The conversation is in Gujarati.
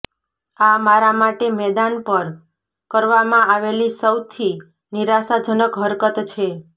આ મારા માટે મેદાન પર કરવામાં આવેલી સૌથી નિરાશાજનક હરકત છે